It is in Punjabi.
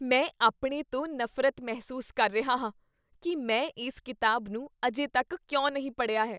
ਮੈਂ ਆਪਣੇ ਤੋਂ ਨਫ਼ਰਤ ਮਹਿਸੂਸ ਕਰ ਰਿਹਾ ਹਾਂ ਕੀ ਮੈਂ ਇਸ ਕਿਤਾਬ ਨੂੰ ਅਜੇ ਤੱਕ ਕਿਉਂ ਨਹੀਂ ਪੜ੍ਹਿਆ ਹੈ।